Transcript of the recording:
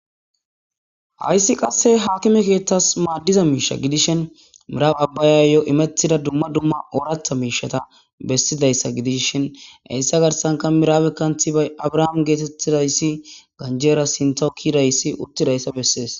hayssi qasse hakime keeththas maaddiza miisha gidishen mirabe abbayayo imettida dumma duma ooratha miishata bessidayssa gidish shin heyssa garsanka miraabe kanthi bay abrahaam geetettidayssi ganjera sintokidayssi uttidayssa bessees